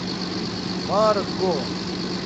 марго